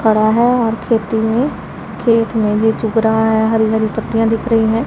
खड़ा है और खेती में खेत में भी चुग रहा है हरी हरी पत्तियां दिख रही हैं।